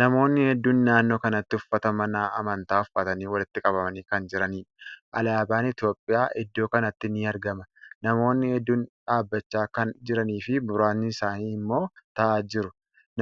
Namootni hedduun naannoo kanatti uffata mana amantaa uffatanii walitti qabamanii kan jiraniidha. Alaaban Itiyoophiyyaa iddoo kanatti ni argama. Namootni hedduun dhaabbachaa kan jiranii fi muraasni isaanii immoo taa'aa jiru.